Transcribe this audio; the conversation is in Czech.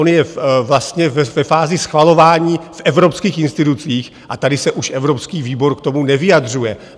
On je vlastně ve fázi schvalování v evropských institucích a tady se už evropský výbor k tomu nevyjadřuje.